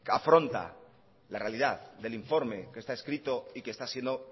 afronta la realidad del informe que está escrito y que está siendo